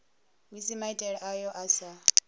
musi maitele ayo a sa